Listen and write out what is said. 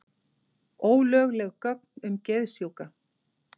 Ólögleg gögn um geðsjúka